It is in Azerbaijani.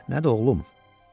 Nədir, oğlum?